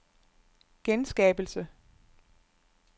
genskabelse